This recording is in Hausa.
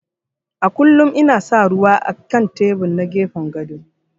A kullum ina sa ruwa á kan tebur na gefen gado.